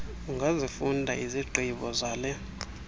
ungazifunda izigqibo zale